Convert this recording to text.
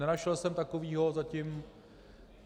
Nenašel jsem takového zatím.